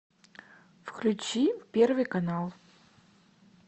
включи первый канал